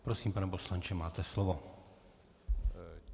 Prosím, pane poslanče, máte slovo.